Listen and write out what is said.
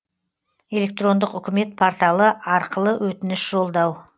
электрондық үкімет порталы арқылы өтініш жолдау